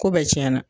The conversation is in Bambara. Ko bɛɛ tiɲɛna